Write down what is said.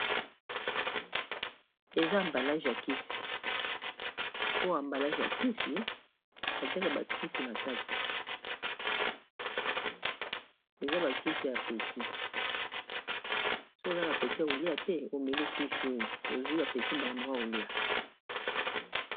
Eza emballage ya kisi, soki oza na peti ya kolia te omeli kisi oyo ozwi apeti mbala moko ya kolia.